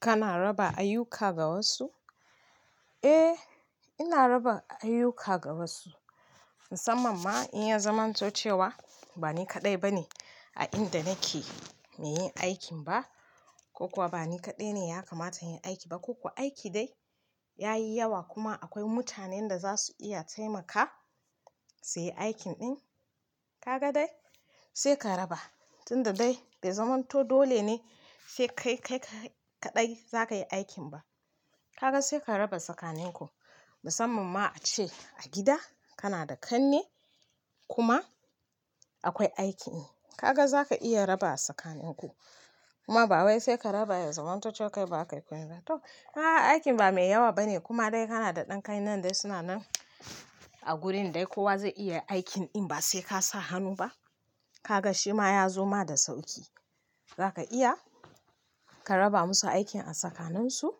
Kana raba ayyuka ga wasu? Eh, ina raban ayyuka ga wasu, musamman ma in ya zamanto cewa ba ni kaɗai ba ne a inda nake mai yin aikin ba ko kuwa ba ni kaɗai ne ya kamata in yi aiki ba ko kuwa aiki dai ya yi yawa kuma akwai mutanen da za su iya taimaka su yi aikin ɗin. Kaga dai, sai ka raba tunda dai bai zamanto dole ne sai kai kai kaɗai za ka yi aikin ba. Kaga sai ka raba sakanin ku musamman ma a ce a gida kana da kanne kuma akwai aikin, kaga za ka iya raba sakanin ku. Kuma ba wai sai ka raba ya zamanto cewa kai ba ka yi komiba to, a aikin ba mai yawa ba ne kuma dai kana da ɗan kane dai suna nan a gurin dai kowa zai iya aikin in ba sai ka sa hannu ba. Kaga shi ma ya zoma da sauƙi. Za ka iya ka raba musu aikin a sakaninsu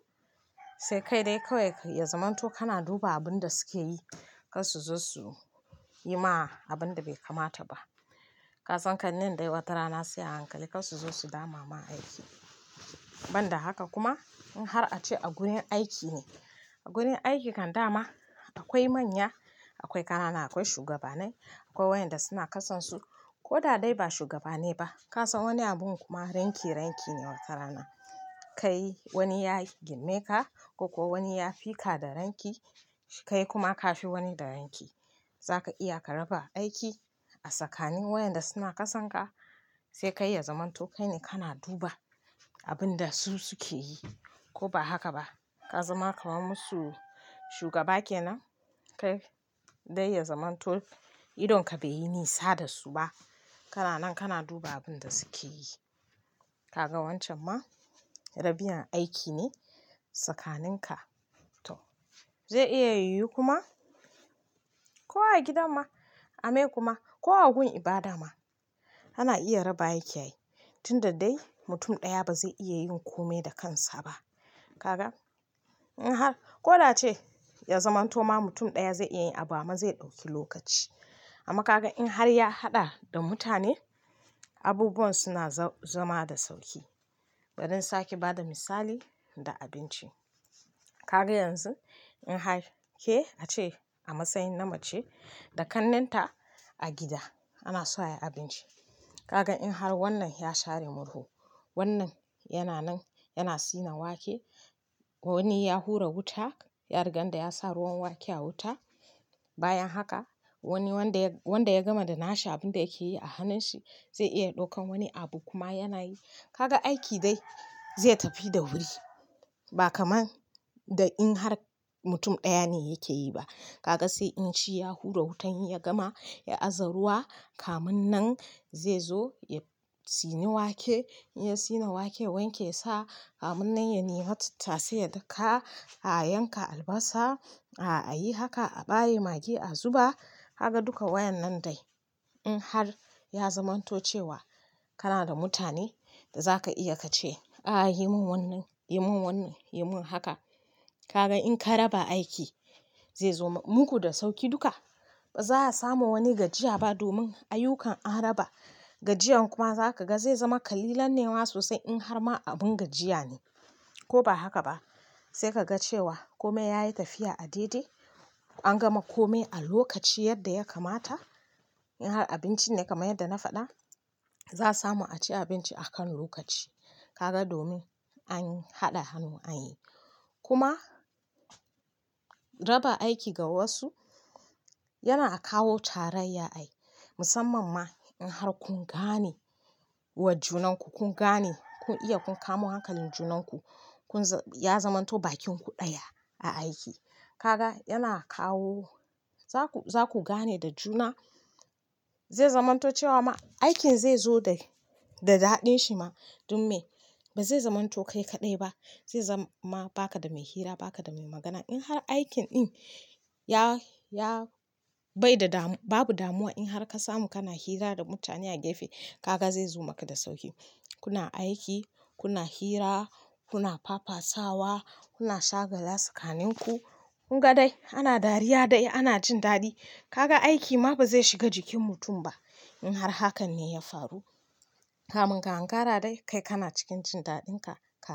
sai kai dai kawai ya zamanto kana duba abun da suke yi kar su zo su yi ma abun da bai kamata ba. Ka san kannen dai wata rana sai a hankali kar su zo su dama ma aiki. Ban da haka kuma in har a ce a gurin aiki ne, a gurin aiki kan dama akwai manya, akwai kanana, akwai shugabanai akwai wayanda suna jasansu ko da dai ba shugabanai ba. Ka san wani abun kuma ranki, ranki ne wata rana. Kai wani ya girme ka ko kuwa wani ya fi ka da ranki, kai kuma ka fi wani da ranki. Za ka iya ka raba aiki a tsakanin wayanda suna ƙasan ka sai kai ya zamanto kai ne kana duba abin da su suke yi ko ba haka ba. Ka zama kaman musu shugaba ke nan kai dai ya zamanto idonka bai yi nisa da su ba. Kada nan kana duba abun da suke yi. Kaga wancan ma rabiyana aiki ne sakaninka. To zai iya yu kuma ko a gidan ma, a me kuma ko a gun ibada ma ana iya raba aiki ay tunda dai mutun ɗaya ba zai iya yin kome da kansa ba. Kaga in har ko da ce ya zamanto ma mutun ɗaya zai iya yi abu amma zai ɗauki lokaci. Amma kaga in har ya haɗa da mutane, abubuwan suna za, zama da sauki. Bari in sake bada misali da abinci. Kaga yanzu in har ke a ce a masayin na mace da kannen ta a gida ana so ayi abinci. Kaga in har wannan ya share murhu, wannan yana nan yana sina wake, wani ya hura wuta, ya rigan da ya sa ruwan wake a wuta. Bayan haka wani wanda wanda ya gama da na shi abin da yake yi a hannun shi zai iya ɗaukan wani abu kuma yana yi. Kaga aiki dai zai tafi da wuri ba kamar da in har mutum ɗaya ne yake yi ba. Kaga sai in shi ya hura wutan in ya gama ya aza ruwa kamin nan zai zo ya sini wake, ya sine wake wanke sa kamin nan ya nima tattasai ya daka a yanka albasa, a yi haka a ɓaye magi a zuba. Kaga duka wayan nan dai in har ya zamanto cewa kana da mutane da za ka iya ka ce, "a yi mun wannan, yi mun wannan, yi mun haka". Kaga in ka raba aiki zai zoma muku da sauki duka. Ba za a samu wani gajiya ba domin ayyukan an raba, gajiyan kuma za ka ga zai zama kalilan nema sosai in har ma abun gajiya ne ko ba haka ba. Sai ka ga cewa kome yayi tafiya a daidai. An gama kome a lokaci yadda ya kamata. In har abincin ne kaman yadda na faɗa, za samu a ci abinci a kan lokaci. Kaga domin an haɗa hannu an yi. Kuma raba aiki ga wasu yana kawo tarayya ai. Musamman ma in har kun gane wa junanku, kun gane kun iya kun kamo hankalin junan ku, kun za-- ya zamanto bakin ku ɗaya a aiki. Kaga yana kawo za ku, za ku gane da juna zai zamanto cewa ma aikin zai zo da, da daɗin shi ma dumme ba zai zamanto kai kaɗai ba. Zai zama ba ka da mai hira, ba ka da mai magana. In har aikin ɗin ya, ya bai da damu-- babu damuwa in har ka samu kana hira da mutane a gefe kaga zai zo maka da sauƙi. Kuna aiki, kuna hira, kuna fafasawa, kuna shagala tsakanin ku. Kunga dai ana dariya dai ana cin daɗi. Kaga aiki ma ba zai shiga jikin mutum ba in har hakan ne ya faru. Kamun ka ankara dai kai kana cikin jin daɗin ka ka.